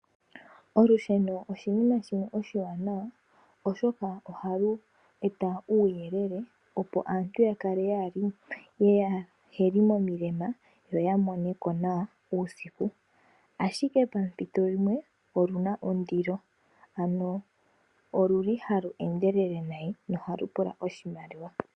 Olusheno oshinima shimwe oshiwanawa oshoka ohalu eta uuyelele opo aantu kaa yakale yeli momilemo, yo ya moneko nawa uusiku, ashike pampito dhimwe oluna ondilo ano oluli halu endelele nayi nohalu pula oshimaliwa.